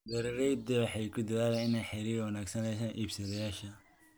Beeraleydu waxay ku dadaalaan inay xiriir wanaagsan la yeeshaan iibsadayaasha.